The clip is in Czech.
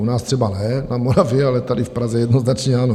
U nás třeba ne, na Moravě, ale tady v Praze jednoznačně ano.